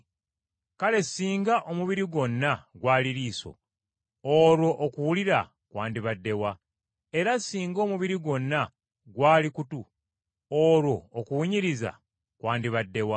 Kale singa omubiri gwonna gwali liiso, olwo okuwulira kwandibadde wa? Era singa omubiri gwonna gwali kutu, olwo okuwunyiriza kwandibadde wa?